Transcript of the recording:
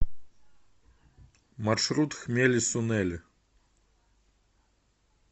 маршрут хмели сунели